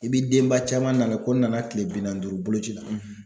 I bi denba caman nana ko n nana kile bi naani ni duuru bolo ci la